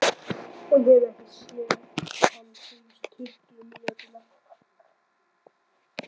Hún hefur ekki séð hann síðustu tuttugu mínúturnar.